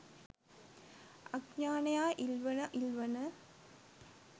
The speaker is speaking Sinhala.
අඥානයා ඉල්වන ඉල්වන